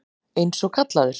Eins og kallaður.